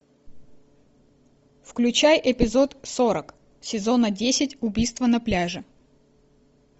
включай эпизод сорок сезона десять убийство на пляже